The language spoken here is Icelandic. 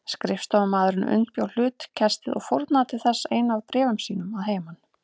Skrifstofumaðurinn undirbjó hlutkestið og fórnaði til þess einu af bréfum sínum að heiman.